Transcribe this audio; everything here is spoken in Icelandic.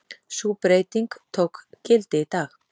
Sú breyting tók gildi í dag